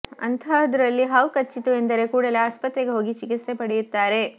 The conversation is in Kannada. ಅಂತಹದರಲ್ಲಿ ಹಾವು ಕಚ್ಚಿತು ಎಂದರೆ ಕೂಡಲೇ ಆಸ್ಪತ್ರೆಗೆ ಹೋಗಿ ಚಿಕಿತ್ಸೆ ಪಡೆಯುತ್ತಾರೆ